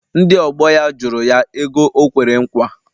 Ndị ọgbọ ya jụrụ ya ego o kwere nkwa.